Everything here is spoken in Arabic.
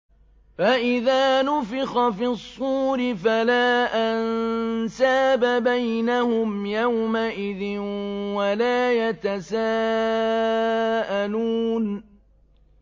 فَإِذَا نُفِخَ فِي الصُّورِ فَلَا أَنسَابَ بَيْنَهُمْ يَوْمَئِذٍ وَلَا يَتَسَاءَلُونَ